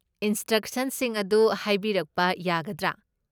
ꯏꯟꯁꯇ꯭ꯔꯛꯁꯟꯁꯤꯡ ꯑꯗꯨ ꯍꯥꯏꯕꯤꯔꯛꯄ ꯌꯥꯒꯗ꯭ꯔꯥ?